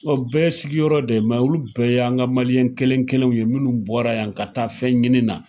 bɛɛ sigiyɔrɔ de olu bɛɛ y'an ka kelen kɛlenw ye minnu bɔra yan ka taa fɛn ɲini na.